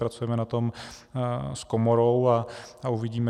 Pracujeme na tom s komorou a uvidíme.